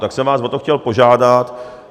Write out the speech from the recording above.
Tak jsem vás o to chtěl požádat.